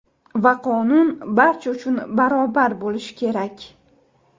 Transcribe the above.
Va qonun barcha uchun barobar bo‘lishi kerak.